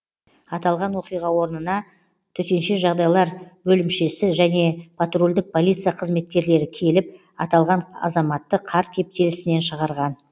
аталған оқиға орнына тжб және патрульдік полиция қызметкерлері келіп аталған азаматты қар кептелісінен шығарған